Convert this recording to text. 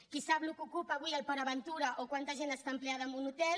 qui sap què ocupa avui port aventura o quanta gent està empleada en un hotel